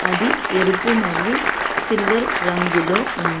అది ఎరుపు మరియు సిల్వర్ రంగులో ఉంది.